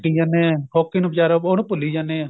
ਜਾਣਾ hockey ਨੂੰ ਵਿਚਾਰੇ ਉਹਨੂੰ ਭੂਲੀ ਜਾਨੇ ਆ